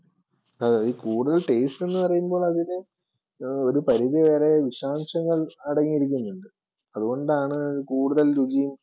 അതെ ഈ കൂടുതൽ Taste എന്ന് പറയുമ്പോൾ അതിനെ ഒരു പരിധി വരെ വിഷാംശങ്ങൾ അടങ്ങിയിരിക്കുന്നുണ്ട്. അതുകൊണ്ടാണ് കൂടുതൽ രുചിയും